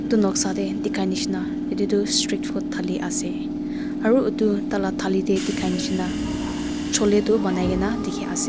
etu noksa teh dikhai nisna etu tu street food thali ase aru etu tah lah thali teh dikhai nisna chole tu banai ke na dikhi ase.